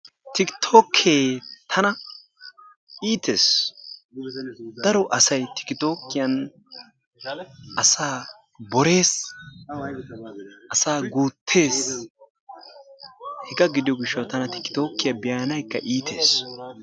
Tikkittookke tana iittees daro asay tikkittokiyan asaa borees asaa guuttees hegaa gidiyo gishshawu tana tikkittookkiya beanawukka iitees.